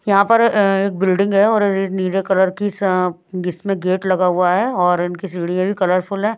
यहां पर अ एक बिल्डिंग है और नीले कलर की सा इसमें गेट लगा हुआ है और इनकी सीढ़ियां भी कलरफुल हैं।